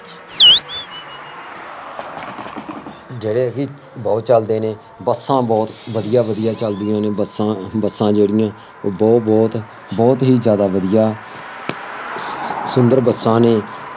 ਜਿਹੜੇ ਕਿ ਬਹੁਤ ਚੱਲਦੇ ਨੇ, ਬੱਸਾਂ ਬਹੁਤ ਵਧੀਆ ਵਧੀਆ ਚੱਲਦੀਆਂ ਨੇ, ਬੱਸਾਂ ਬੱਸਾਂ ਜਿਹੜੀਆਂ ਉਹ ਬਹੁਤ ਬਹੁਤ ਬਹੁਤ ਹੀ ਜ਼ਿਆਂਦਾ ਵਧੀਆ ਸੁੰਦਰ ਬੱਸਾਂ ਨੇ